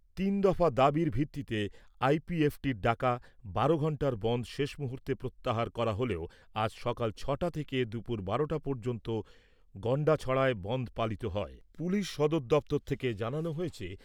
তিন দফা দাবির ভিত্তিতে আইপিএফটির ডাকা বারো ঘন্টার বনধ শেষ মুহূর্তে প্রত্যাহার করা হলেও আজ সকাল ছটা থেকে দুপুর বারোটা পর্যন্ত গন্ডাছড়ায় বনধ পালিত হয়। পুলিশ সদর দপ্তর থেকে জানানো হয়েছে